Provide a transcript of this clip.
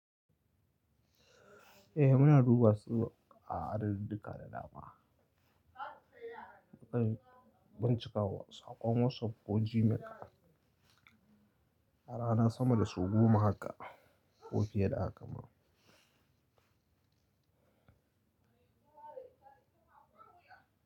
Eh muna duba su a duk daƙiƙa da dama. Muƙai bincika wa saƙon WhatsApp ko Gmail. Har ana sama da su goma haka ko fiye da haka ma.